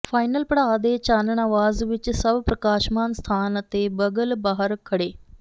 final ਪੜਾਅ ਦੇ ਚਾਨਣ ਆਵਾਜ਼ ਵਿੱਚ ਸਭ ਪ੍ਰਕਾਸ਼ਮਾਨ ਸਥਾਨ ਅਤੇ ਬਗਲ ਬਾਹਰ ਖੜ੍ਹੇ